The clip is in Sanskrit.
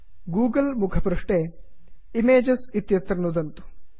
गूगल् मुखपृष्ठे इमेजेस् इमेजस् इत्यत्र नुदन्तु